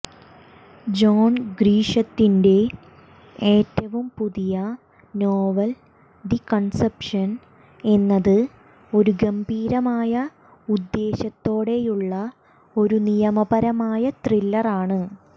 John ഗ്രിഷത്തിന്റെ ഏറ്റവും പുതിയ നോവൽ ദി കണ്പ്സഷൻ എന്നത് ഒരു ഗംഭീരമായ ഉദ്ദേശ്യത്തോടെയുള്ള ഒരു നിയമപരമായ ത്രില്ലറാണ്